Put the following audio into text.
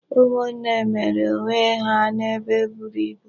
Ụmụnne mere onw e ha n'ebe eburu ibu.